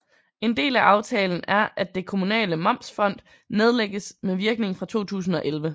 En del af aftalen er at Det Kommunale Momsfond nedlægges med virkning fra 2011